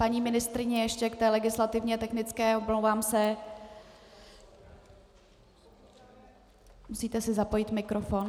Paní ministryně, ještě k té legislativně technické - omlouvám se - musíte si zapojit mikrofon.